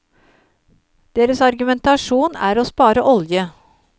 Deres argumentasjonen er å spare olje.